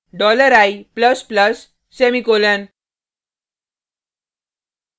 dollar i plus plus semicolon